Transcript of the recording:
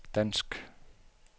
dansk